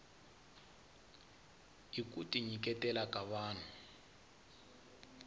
i kuti nyiketela ka vahnu